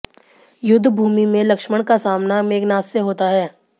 युद्ध भूमि में लक्ष्मण का सामना मेघनाद से होता है